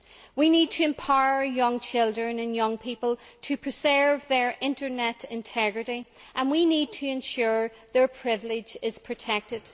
We need to empower young children and young people to preserve their internet integrity, and we need to ensure their privacy is protected.